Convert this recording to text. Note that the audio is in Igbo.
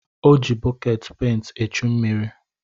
O ji bọkeetị penti echu mmiri.